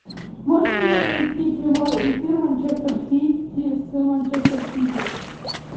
можешь мне найти прямой эфир манчестер сити с манчестер сити